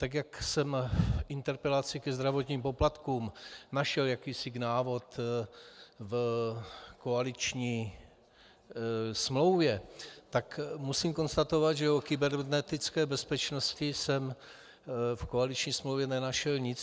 Tak jak jsem k interpelaci ke zdravotním poplatkům našel jakýsi návod v koaliční smlouvě, tak musím konstatovat, že o kybernetické bezpečnosti jsem v koaliční smlouvě nenašel nic.